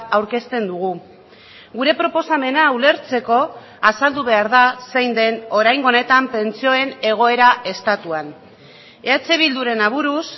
aurkezten dugu gure proposamena ulertzeko azaldu behar da zein den oraingo honetan pentsioen egoera estatuan eh bilduren aburuz